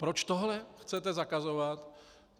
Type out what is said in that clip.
Proč tohle chcete zakazovat?